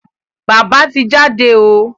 Bába ti jáde o.